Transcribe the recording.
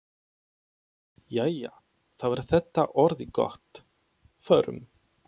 Jæja, þá er þetta orðið gott. Förum.